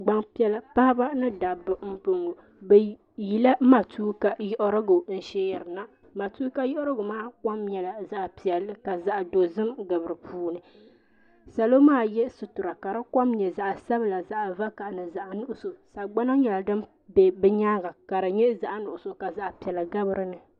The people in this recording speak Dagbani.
Gban piɛla paɣaba ni dabba n boŋɔ. Bɛ yila matuuka yiɣirigu n sheerina. Matuuka yiɣirigu maa kom nyela zaɣ' piɛlli ka zaɣ' dozim gabi di puuni. Salo maa ye sutura ka di kom nye zaɣ' sabila, zaɣ' vakahili, zaɣ' nuɣiso. Sagbana nyela din be bɛ nyaaŋa ka di nye zaɣ' nuɣiso ka zaɣ' piɛla gabi dini.